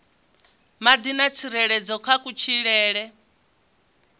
madi na tsireledzo kha kutshilele